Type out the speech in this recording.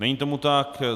Není tomu tak.